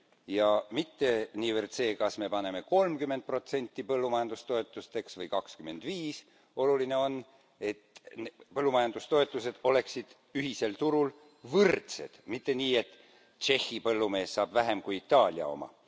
Ja mitte niivõrd see, kas me paneme kolmkümmend protsenti põllumajandustoetusteks või kakskümmend viis, oluline on, et põllumajandustoetused oleksid ühisel turul võrdsed, mitte nii et Tšehhi põllumees saab vähem kui Itaalia oma.